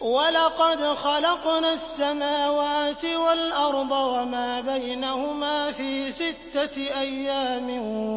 وَلَقَدْ خَلَقْنَا السَّمَاوَاتِ وَالْأَرْضَ وَمَا بَيْنَهُمَا فِي سِتَّةِ أَيَّامٍ